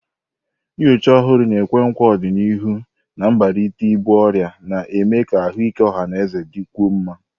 Nnyocha ọhụrụ na-ekwe nkwa ọdịnihu na mbelata ibu ọrịa, na-eme ka ahụike ọha na eze dịkwuo mma.